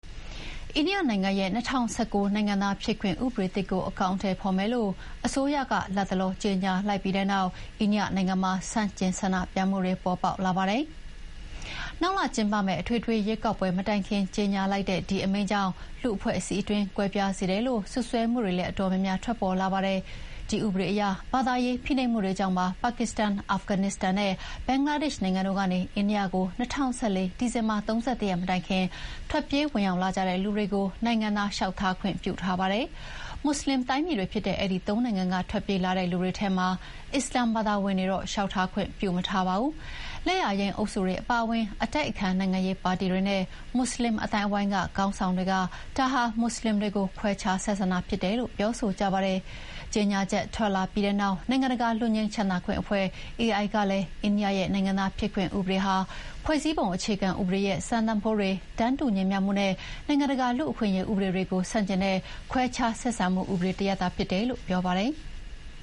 အိန္ဒိယနိုင်ငံရဲ့ ၂၀၁၉ နိုင်ငံသားဖြစ်ခွင့်ဥပဒေသစ်ကို အကောင်အထည်ဖော်မယ်လို့ အစိုးရက လတ်တလောကြေညာလိုက်ပြီးတဲ့နောက် အိန္ဒိယနိုင်ငံမှာ ဆန့်ကျင်ဆန္ဒပြမှုတွေပေါ်ပေါက်လာပါတယ်။ နောက်လထဲကျင်းပမယ့် အထွေထွေရွေးကောက်ပွဲမတိုင်ခင် ကြေညာလိုက်တဲ့ဒီအမိန့်ကြောင့် လူ့အဖွဲ့အစည်းအတွင်းကွဲပြားစေတယ်လို့ စွပ်စွဲမှုတွေလည်း အတော်များများ ထွက်ပေါ်လာပါတယ်။ CAA လို့ခေါ်တဲ့ နိုင်ငံသားဖြစ်ခွင့်ဥပဒေအရ ဘာသာရေးဖိနှိပ်မှုတွေကြောင့် ပါကစ္စတန်၊ အာဖဂန်နစ္စတန်နဲ့ ဘင်္ဂလားဒေ့ရှ် နိုင်ငံတွေကနေ အိန္ဒိယကို ၂၀၁၄ ဒီဇင်ဘာ ၃၁ ရက်မတိုင်ခင် ထွက်ပြေးဝင် ရောက်လာကြတဲ့လူတွေကို နိုင်ငံသားအဖြစ် လျှောက်ထားခွင့်ပေးထားပါတယ်။ မွတ်ဆလင်တိုင်းပြည်တွေဖြစ်တဲ့ အဲဒီ ၃ နိုင်ငံက ထွက်ပြေးလာတဲ့လူတွေထဲမှာ အစ္စလာမ်ဘာသာဝင်တွေကိုတော့ နိုင်ငံသားအဖြစ် လျှောက်ထားခွင့်ပေးမထားပါဘူး။ လက်ယာယိမ်းအုပ်စုတွေအပါအဝင် အတိုက်အခံနိုင်ငံရေးပါတီတွေနဲ့ မွတ်ဆလင်လူမှုအသိုင်းအဝိုင်းက ခေါင်းဆောင်တွေက ဒီလုပ်ရပ်ဟာ မွတ်ဆလင်တွေကို ခွဲခြားဆက်ဆံတာ ဖြစ်တယ်လို့ ပြောဆိုကြပါတယ်။ ပြီးခဲ့တဲ့တပတ်က ကြေညာချက်ထွက်လာပြီးတဲ့နောက် နိုင်ငံတကာလွတ်ငြိမ်းချမ်းသာခွင့်အဖွဲ့ AI ကလည်း အိန္ဒိယရဲ့နိုင်ငံသားဖြစ်ခွင့်ဥပဒေဟာ ဖွဲ့စည်းပုံအခြေခံဥပဒေရဲ့ စံတန်ဖိုးတွေ၊ တန်းတူညီမျှမှုနဲ့ နိုင်ငံတကာလူ့အခွင့်အရေးဥပဒေတွေကို ဆန့်ကျင်နေတဲ့ ခွဲခြားဆက်ဆံမှုဥပဒေတရပ်ဖြစ်တယ်လို့ ပြောပါတယ်။